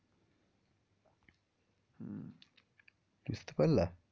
বুঝতে পারলা?